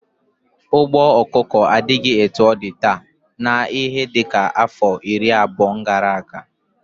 Ugbo ọkụkọ adighi etu ọ di taa na ihe dika afọ iri abuo gara aga.